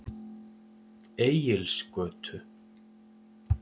Egilsgötu